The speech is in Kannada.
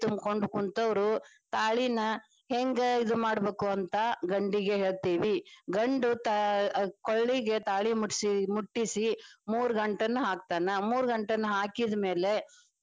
ಕುಂತವರು ತಾಳಿನ ಹೆಂಗ ಇದು ಮಾಡಬೇಕು ಅಂತ ಗಂಡಿಗೆ ಹೇಳ್ತೀವಿ ಗಂಡು ಅಹ್ ಕೊಳ್ಳಿಗ ತಾಳಿ ಮುಟ್ಟಿಸಿ ಮೂರ ಗಂಟನ್ನ ಹಾಕ್ತಾನ, ಮೂರ ಗಂಟನ್ನ ಹಾಕಿದ ಮೇಲೆ.